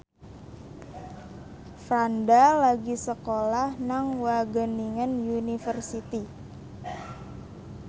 Franda lagi sekolah nang Wageningen University